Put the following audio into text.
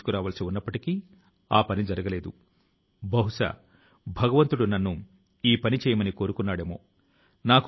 దీనిని మీరు విని చాలా బాగా అనిపించి ఉంటుందని గర్వం గా భావించారని నాకు పూర్తి నమ్మకం ఉంది